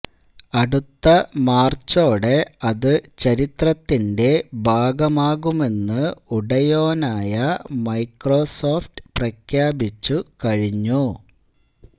അടുത്ത മാര്ച്ചോടെ അത് ചരിത്രത്തിന്റെ ഭാഗമാകുമെന്ന് ഉടയോനായ മൈക്രോസോഫ്റ്റ് പ്രഖ്യാപിച്ചു കഴിഞ്ഞു